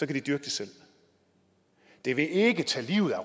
de dyrke det selv det vil ikke tage livet af